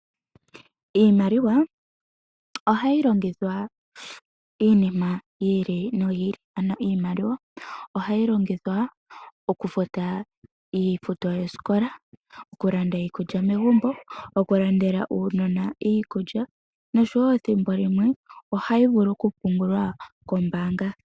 Iimaliwa ohayi longithwa momikalo dhili nodhiili ngaashi okufuta iifuto yoosikola, okulanda iikulya megumbo, okulandela uunona iikulya noshowoo thimbo limwe ohayi vulu okupungulwa koombaanga.